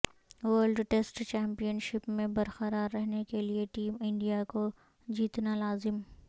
world test championship میں برقرار رہنے کیلئے ٹیم انڈیا کو جیتنا لازم